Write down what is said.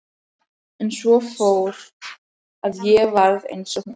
En svo fór að ég varð eins og hún.